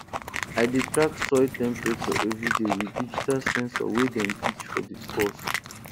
i dey track soil temperature every day with digital sensor wey dem teach for di course